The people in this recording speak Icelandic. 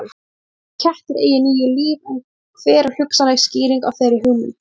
Sagt er að kettir eigi níu líf en hver er hugsanleg skýring á þeirri hugmynd?